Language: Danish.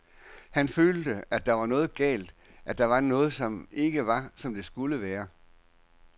Han følte, at der var noget galt, at der var noget, som ikke var, som det skulle være.